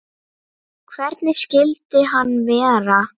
Hvernig skyldi hann vera?